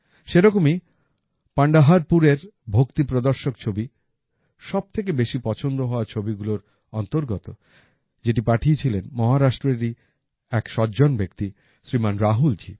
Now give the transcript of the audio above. সেরকমই পান্ডহারপুরের ভক্তি প্রদর্শক ছবি সবথেকে বেশি পছন্দ হওয়া ছবিগুলোর অন্তর্গত যেটা পাঠিয়েছিলেন মহারাষ্ট্রেরই এক সজ্জন ব্যক্তি শ্রীমান রাহুলজি